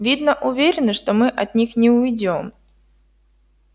видно уверены что мы от них не уйдём